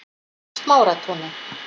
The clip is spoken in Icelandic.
Smáratúni